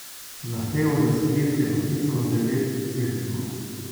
Zahtevo za sklic je podpisalo devet svetnikov.